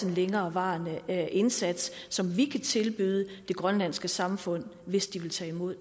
en længerevarende indsats som vi kan tilbyde det grønlandske samfund hvis de vil tage imod